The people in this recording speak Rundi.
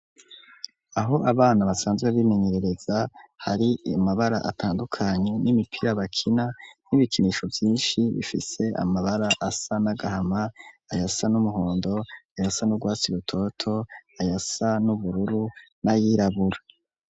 Aho abana basanzwe bimenyerereza hari amabara atandukanye n'imipira bakina n'ibikinisho vyishi bifise amabara asa n'agahama ayasa n'umuhondo ayasa n'urwasi rutoto ayasa n'ubururu nayirabura.